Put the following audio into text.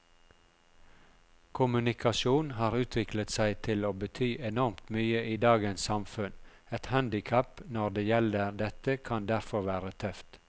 Kommunikasjon har utviklet seg til å bety enormt mye i dagens samfunn, et handicap når det gjelder dette kan derfor være tøft.